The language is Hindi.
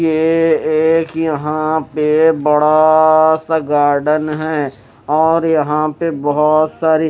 ये एक यहाँ पे बड़ा आ आ सा गार्डेन है और यहाँ पे बहोत सारे--